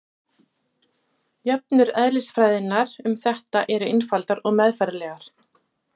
jöfnur eðlisfræðinnar um þetta eru einfaldar og meðfærilegar